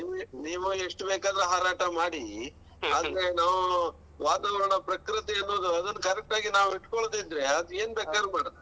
ನೀವು ಎಷ್ಟ್ ಬೇಕಾರು ಹಾರಾಟ ಮಾಡಿ ಅಂದ್ರೆ ನಾವು ವಾತಾವರಣ ಪ್ರಕೃತಿಯನ್ನು ಅದನ್ನ correct ಆಗಿ ನಾವು ಇಟ್ಕೋಲ್ದಿದ್ರೆ ಅದ್ ಏನ್ ಬೇಕಾದ್ರು ಮಾಡತ್.